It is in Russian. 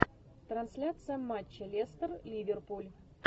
трансляция матча лестер ливерпуль